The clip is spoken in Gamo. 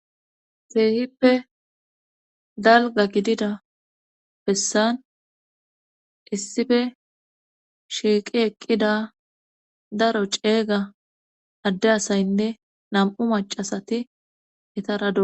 Teehippe dalga gidida bessan issife shiiqi eqqida daro ceeyga adde asaynne nam7u macasati etaradua